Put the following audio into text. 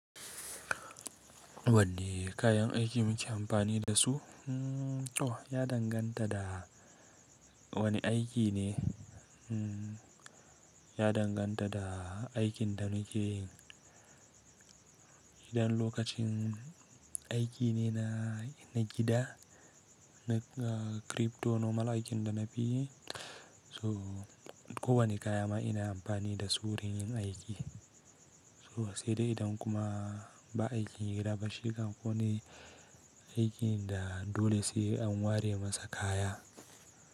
Wanne kayan aiki muke amfani da su? Ya danganta da wane aiki ne. Ya danganta da aikin da muke yi. Idan lokacin aiki ne na gida, crypto normal aikin da na fi yi, ko wane kaya ma ina amfani da su wurin yin aiki. Sai dai idan kuma ba aiki irin abin shiga ko wani aikin da dole sai an ware masa kaya.